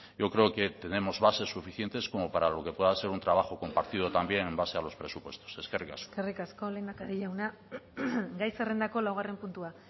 yo creo que tenemos bases suficientes como para lo que pueda ser un trabajo compartido también en base a los presupuestos eskerrik asko eskerrik asko lehendakari jauna gai zerrendako laugarren puntua